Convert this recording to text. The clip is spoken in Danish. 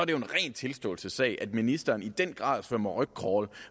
jo en ren tilståelsessag at ministeren i den grad svømmer rygcrawl